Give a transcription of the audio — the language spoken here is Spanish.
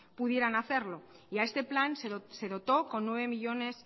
pudieran hacerlo y a este plan se dotó con nueve millónes